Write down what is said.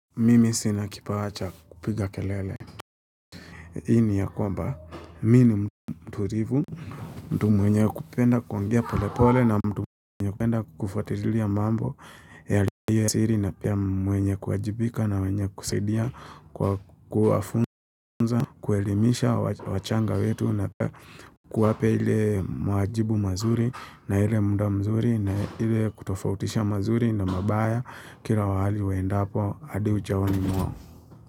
Mimi sina kipawa cha kupiga kelele. Hii ni ya kwamba, mimi ni mturivu mtu mwenye kupenda kuongea pole pole na mtu mwenye kupenda kufuatilia mambo yaliyo siri na pia mwenye kuwajibika na mwenye kusaidia kwa kuwafunza, kuelimisha wachanga wetu na pia kuwape ile mwajibu mazuri na ile muda mzuri na ile kutofautisha mazuri na mabaya kila mahali waenda hapo adi ujaoni mwao.